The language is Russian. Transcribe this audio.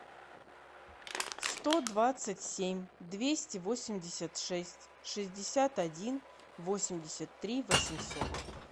сто двадцать семь двести восемьдесят шесть шестьдесят один восемьдесят три восемьсот